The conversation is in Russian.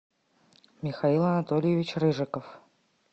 михаил анатольевич рыжиков